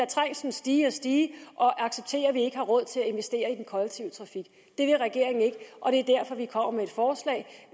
trængslen stige og stige og acceptere at vi ikke har råd til at investere i den kollektive trafik det vil regeringen ikke og det